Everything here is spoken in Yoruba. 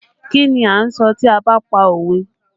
Kí ni a ń sọ tí a ba pa òwe?